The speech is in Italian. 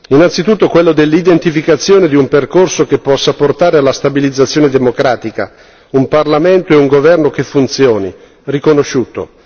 Innanzitutto quello dell'identificazione di un percorso che possa portare alla stabilizzazione democratica, un parlamento e un governo che funzioni, riconosciuto.